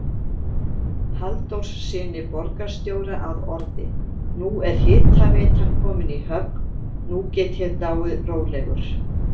Halldórssyni borgarstjóra að orði: Nú er hitaveitan komin í höfn, nú get ég dáið rólegur